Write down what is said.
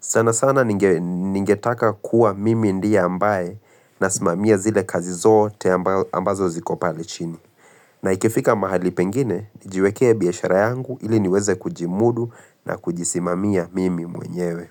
Sana sana ningetaka kuwa mimi ndiye ambaye nasimamia zile kazi zote ambazo ziko pale chini. Na ikifika mahali pengine, nijiwekee biashara yangu ili niweze kujimudu na kujisimamia mimi mwenyewe.